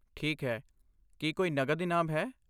ਠੀਕ ਹੈ, ਕੀ ਕੋਈ ਨਕਦ ਇਨਾਮ ਹੈ?